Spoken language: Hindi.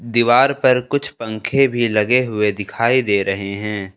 दीवार पर कुछ पंखे भी लगे हुए दिखाई दे रहे है।